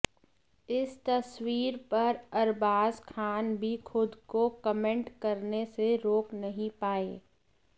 इस तस्वीर पर अरबाज खान भी खुद को कमेंट करने से रोक नहीं पाए